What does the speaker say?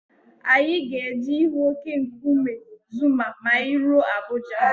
Anyị ga-eje ịhụ óké nkume Zuma ma anyị ruo Abuja.